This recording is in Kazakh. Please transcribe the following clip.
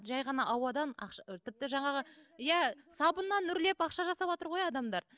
жай ғана ауадан ақша тіпті жаңағы иә сабыннан үрлеп ақша жасаватыр ғой адамдар